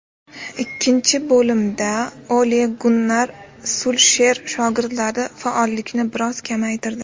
Ikkinchi bo‘limda Ole-Gunnar Sulsher shogirdlari faollikni biroz kamaytirdi.